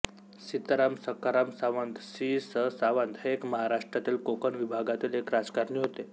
सीताराम सखाराम सावंत सी स सावंत हे एक महाराष्ट्रातील कोकण विभागातील एक राजकारणी होते